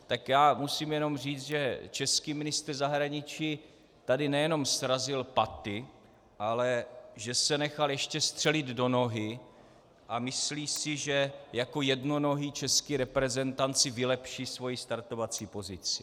Tak já musím jenom říci, že český ministr zahraničí tady nejenom srazil paty, ale že se nechal ještě střelit do nohy a myslí si, že jako jednonohý český reprezentant si vylepší svoji startovací pozici.